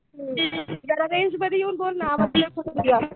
हुं जरा रेंजमध्ये येऊन बोल ना आवाज कट होतोय तुझा.